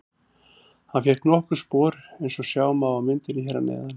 Hann fékk nokkur spor eins og sjá má á myndinni hér að neðan.